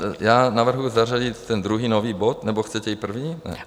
Tak já navrhuji zařadit ten druhý nový bod, nebo chcete i první?